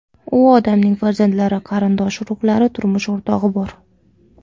U odamning farzandlari, qarindosh urug‘lari, turmush o‘rtog‘i bor.